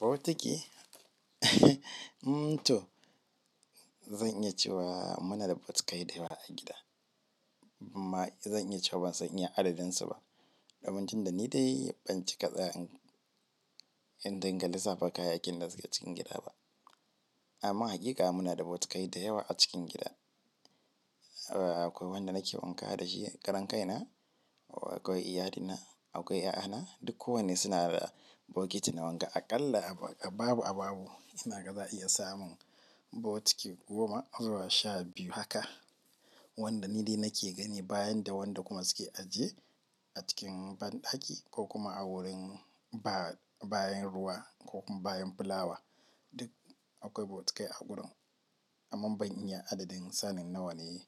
Botiki mm to, zan iya cewa muna da botikai da yawa a gida. Ma zan iya cewa ban san iya adadin su ba. Damam tun da ni dai ban ci ka tsaya in dinga lissafa kayakin da suke gida ba. Amma haƙiƙa muna da bokatai da yawa a gida, akwai wanda nake wanka da shi karan kaina, akwai ƴaƴana duk ko wanne suna da bokiti na wanka. Aƙalla a babu a babu ina ga za a iya samun botiki goma zuwa sha biyu haka wanda ni dai nake gani bayan da wanda kuma suke ajiye a cikin banɗaki ko kuma a wurin ba- bayan ruwa ko bayan fulawa. Duk akwai botikai a gurin. Amma ban iya adadin sanin nawa ne